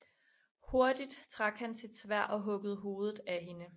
Hurtigt trak han sit sværd og huggede hovedet af hende